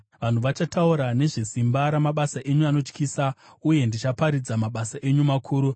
Vanhu vachataura nezvesimba ramabasa enyu anotyisa, uye ndichaparidza mabasa enyu makuru.